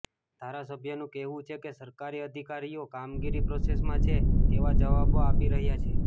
ધારાસભ્યનું કહેવુ છે કે સરકારી અધિકારીઓ કામગીરી પ્રોસેસમાં છે તેવા જવાબો આપી રહ્યા છે